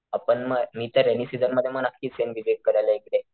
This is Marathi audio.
आपण म मी तर रेनी सिसन म नक्कीच येईल व्हिसिट करायला इकडे,